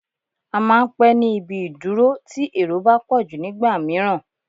À máà ń pé ní ibi ìdúró tí èrò bá pọ̀jù nígbà mìíràn